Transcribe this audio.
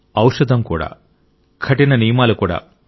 ఔషధం కూడా కఠిన నియమాలు కూడా